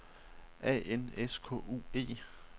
A N S K U E